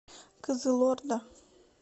кызылорда